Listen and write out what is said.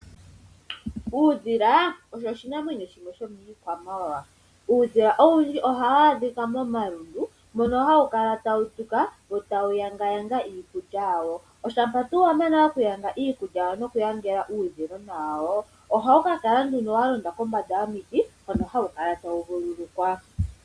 Uudhila osho oshinamwenyo shimwe shomiikwamawawa. Uudhila ohawu adhika momalundu mono hawu kala tawu tuka wo tawu yangayanga iikulya yawo. Oshampa tuu wa mana okuyanga iikulya yawo nokuyangela uudhilona wawoo. Ohawu ka kala nduno wa londa kombanda yomiti hono hawu kala tawu vululukwa.